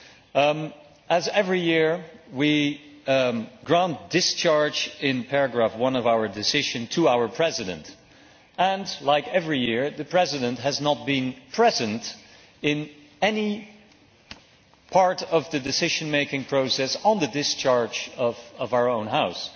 As is the case every year, we grant discharge in paragraph 1 of our decision to our President and in the same way as every year the President has not been present in any part of the decision making process on the discharge of our own House.